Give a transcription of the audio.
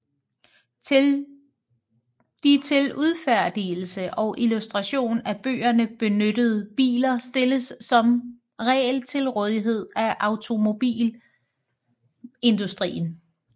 De til udfærdigelse og illustration af bøgerne benyttede biler stilles som regel til rådighed af automobilindustrien